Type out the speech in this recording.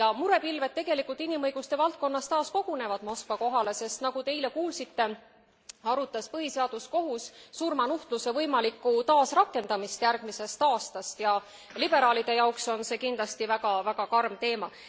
Ja murepilved inimõiguste valdkonnas kogunevad tegelikult taas Moskva kohale, sest nagu te eile kuulsite arutas põhiseaduskohus surmanuhtluse võimalikku taasrakendamist järgmisest aastast ja liberaalide jaoks on see kindlasti väga karm teema.